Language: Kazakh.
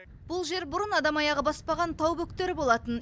бұл жер бұрын адам аяғы баспаған тау бөктері болатын